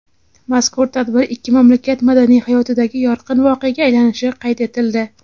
Mazkur tadbir ikki mamlakat madaniy hayotidagi yorqin voqeaga aylanishi qayd etildi.